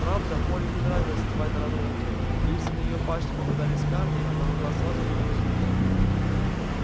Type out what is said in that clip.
правда молли не нравилось вставать рано утром и если на её пашне попадались камни она могла сразу же бросить работу